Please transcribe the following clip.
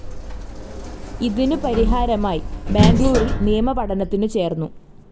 ഇതിനു പരിഹാരമായി ബാംഗ്ലൂരിൽ നിയമ പഠനത്തിനു ചേർന്നു.